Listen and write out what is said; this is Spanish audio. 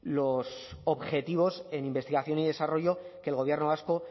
los objetivos en investigación y desarrollo que el gobierno vasco